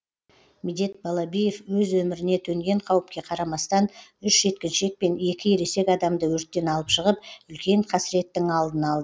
медет балабиев өз өміріне төнген қауіпке қарамастан үш жеткіншек пен екі ересек адамды өрттен алып шығып үлкен қасіреттің алдын алды